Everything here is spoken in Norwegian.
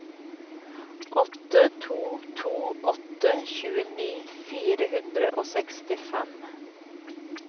åtte to to åtte tjueni fire hundre og sekstifem